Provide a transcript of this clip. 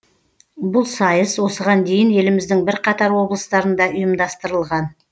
бұл сайыс осыған дейін еліміздің бірқатар облыстарында ұйымдастырылған